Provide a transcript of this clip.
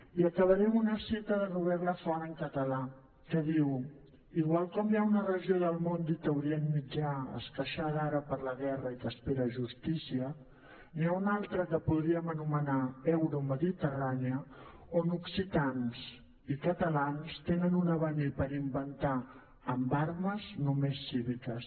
i acabaré amb una cita de robèrt lafont en català que diu igual com hi ha una regió del món dita orient mitjà esqueixada ara per la guerra i que espera justícia n’hi ha una altra que podríem anomenar euromediterrània on occitans i catalans tenen un avenir per inventar amb armes només cíviques